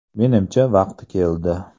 Menimcha, vaqti keldi.